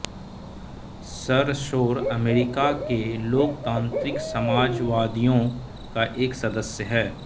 सरसौर America के लोकतांत्रिक समाजवादियों का एक सदस्य है